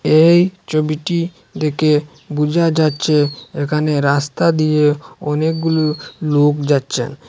এই ছবিটি দেখে বুঝা যাচ্ছে এখানে রাস্তা দিয়ে অনেকগুলু লোক যাচ্ছেন।